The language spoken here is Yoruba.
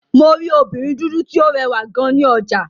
Mo rí obìnrin dúdú tí ó rẹwà gan ní ọjà.